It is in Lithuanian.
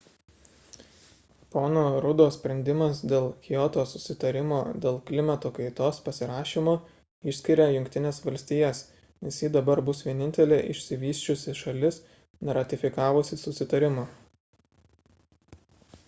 pono ruddo sprendimas dėl kioto susitarimo dėl klimato kaitos pasirašymo išskiria jungtines valstijas nes ji dabar bus vienintelė išsivysčiusi šalis neratifikavusi susitarimo